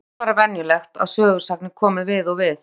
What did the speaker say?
Þetta er bara venjulegt að sögusagnir komi við og við.